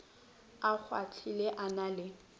a kgwahlile a na le